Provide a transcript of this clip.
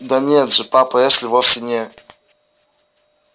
да нет же папа эшли вовсе не